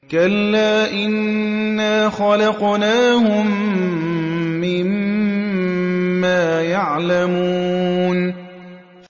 كَلَّا ۖ إِنَّا خَلَقْنَاهُم مِّمَّا يَعْلَمُونَ